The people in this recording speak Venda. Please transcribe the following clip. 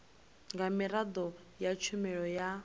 nga miraḓo ya tshumelo ya